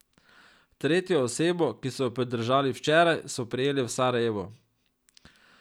Tretjo osebo, ki so jo pridržali včeraj, so prijeli v Sarajevu.